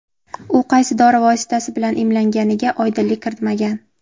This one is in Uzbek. U qaysi dori vositasi bilan emlanganiga oydinlik kiritmagan.